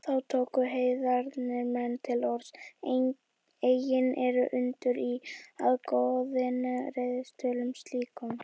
Þá tóku heiðnir menn til orðs: Eigi er undur í, að goðin reiðist tölum slíkum